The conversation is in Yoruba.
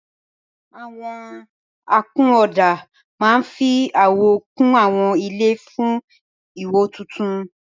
Àwọn akunọ̀ọ̀dà máa ń fi àwọ̀ kún àwọn ilé fún ìwò tuntun.